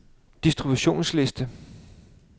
distributionsliste